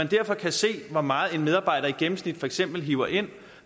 derfor se hvor meget en medarbejder i gennemsnit for eksempel hiver ind